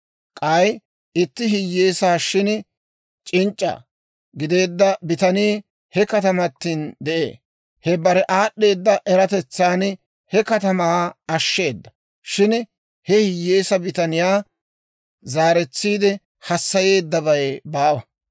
K'ay, itti hiyyeesaa shin c'inc'c'a gideedda bitanii, he katamatin de'ee; I bare aad'd'eeda eratetsan he katamaa ashsheeda. Shin, he hiyyeesaa bitaniyaa zaaretsiide hassayeeddabay baawa.